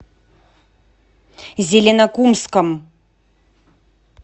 зеленокумском